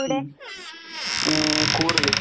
ഉം. ഉം കൂർഗ്.